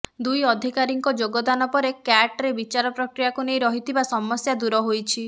ଦୁଇ ଅଧିକାରୀଙ୍କ ଯୋଗ ଦାନ ପରେ କ୍ୟାଟରେ ବିଚାର ପ୍ରକ୍ରିୟାକୁ ନେଇ ରହିଥିବା ସମସ୍ୟା ଦୂର ହୋଇଛି